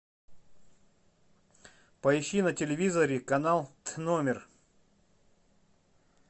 поищи на телевизоре канал тномер